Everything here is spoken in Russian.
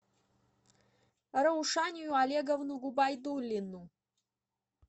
раушанию олеговну губайдуллину